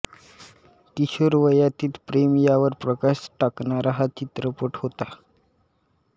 किशोरवयातील प्रेम यावर प्रकाश टाकणारा हा चित्रपट होता